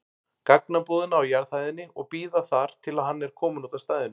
gagnabúðina á jarðhæðinni og bíða þar til hann er kominn út af stæðinu.